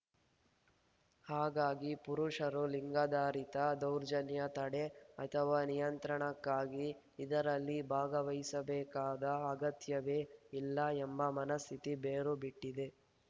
ಹಾಗಾಗಿ ಪುರುಷರು ಲಿಂಗಾಧಾರಿತ ದೌರ್ಜನ್ಯ ತಡೆ ಅಥವಾ ನಿಯಂತ್ರಣಕ್ಕಾಗಿ ಇದರಲ್ಲಿ ಭಾಗವಹಿಸಬೇಕಾದ ಅಗತ್ಯವೇ ಇಲ್ಲ ಎಂಬ ಮನಸ್ಥಿತಿ ಬೇರು ಬಿಟ್ಟಿದೆ